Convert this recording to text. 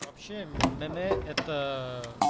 вообще это